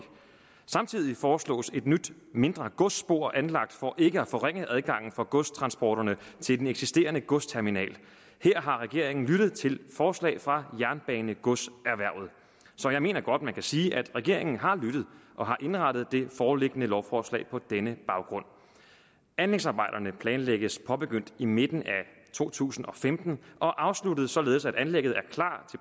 samtidig foreslås et nyt mindre godsspor anlagt for ikke at forringe adgangen for godstransporterne til den eksisterende godsterminal her har regeringen lyttet til forslag fra jernbanegodserhvervet så jeg mener godt man kan sige at regeringen har lyttet og har indrettet det foreliggende lovforslag på denne baggrund anlægsarbejderne planlægges påbegyndt i midten af to tusind og femten og afsluttet således at anlægget er klar